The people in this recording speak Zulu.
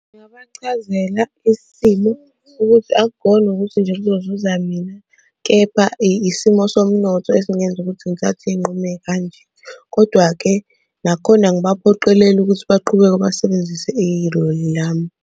Ngingabachazela isimo ukuthi akukhona ukuthi kuzozuza mina, kepha isimo somnotho esingenza ukuthi ngithathe iy'nqumo ey'kanje, kodwa-ke nakhona angibaphoqeleli ukuthi basebenzise iloli lami.